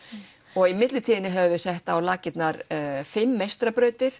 og í millitíðinni höfum við sett á laggirnar fimm